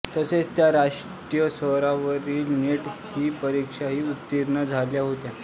तसेच त्या राष्ट्रीय स्तरावरील नेट ही परीक्षाही उत्तीर्ण झाल्या होत्या